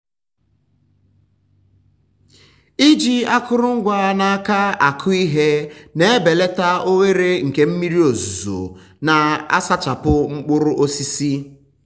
um iji um akụrụngwa n’aka akụ um ihe na-ebelata ohere nke mmiri ozuzo na-asachapụ mkpụrụ osisi.